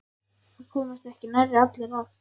Það komast ekki nærri allir að.